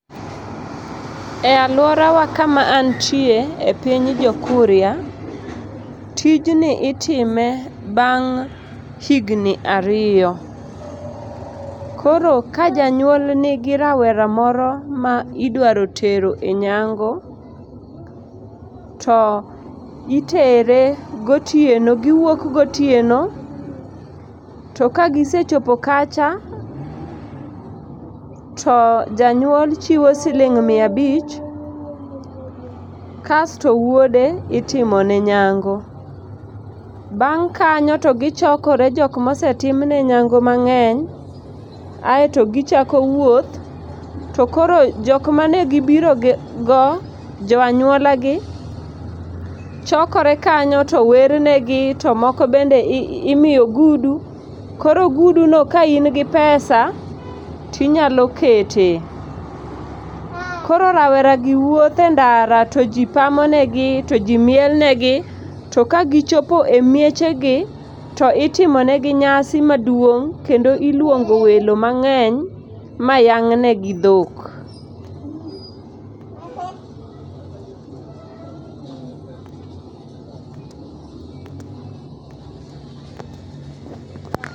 E alwora wa kama antie, e piny jokuria, tijni itime bang' higni ariyo. Koro ka janyuol nigi rawera moro ma idwaro tero e nyango, to itere gotieno, gi wuok gotieno. To ka gisechopo kacha, to janyuol chiwo siling mia abich, kasto wuode itimo ne nyango. Bang' kanyo to gichokore joma osetimnegi nyango mangény, aeto gichako wuoth. To koro jok mane gibirogo, jo anyuola gi